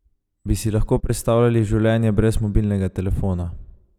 Bi si lahko predstavljali življenje brez mobilnega telefona?